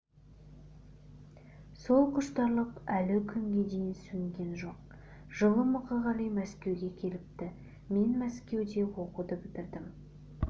сол құштарлық әлі күнге дейін сөнген жоқ жылы мұқағали мәскеуге келіпті мен мәскеуде оқуды бітірдім